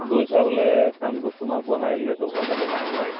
গৈছা বোলে কামটোত তোমাক বহাই দিলে দুঘন্টা তিনি ঘন্টা